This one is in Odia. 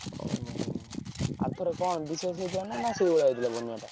ଓହୋ! ଆର ଥର କଣ ବିଶେଷ ହେଇଥିଲା ନା ସେଇଭଳିଆ ହେଇଥିଲା ବନ୍ୟା ଟା?